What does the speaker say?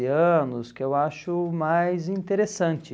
anos, que eu acho mais interessante.